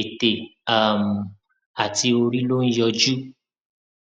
ètè um àti orí ló ń yọjú